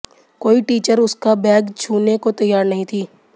कोई टीचर उसका बैग छूने को तैयार नहीं थी